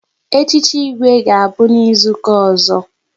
Echichi Igwe ga-abụ n'izuka ọzọ